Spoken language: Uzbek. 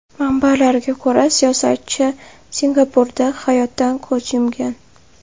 Manbalarga ko‘ra, siyosatchi Singapurda hayotdan ko‘z yumgan.